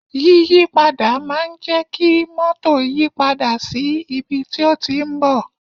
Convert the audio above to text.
Yíyí padà máa ń jẹ kí mótò yìí padà sí ibi tí ó ti ń bọ̀